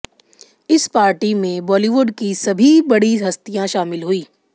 इस पार्टी में बॉलीवुड की सभी बड़ी हस्तियां शामिल हुई